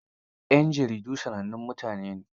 yan jaridu sanannun mutane ne.